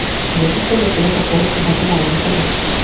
Bu haqda tashkilot axborot xizmati ma’lum qildi .